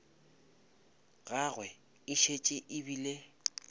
gagwe e šetše e bile